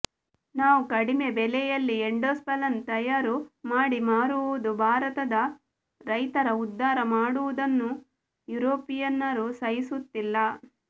ನಾವು ಕಡಿಮೆ ಬೆಲೆಯಲ್ಲಿ ಎಂಡೋಸಲ್ಫನ್ ತಯಾರು ಮಾಡಿ ಮಾರುವುದು ಬಾರತದ ರೈತರ ಉದ್ದಾರ ಮಾಡುವುದನ್ನು ಯುರೊಪಿಯನರು ಸಹಿಸುತ್ತಿಲ್ಲ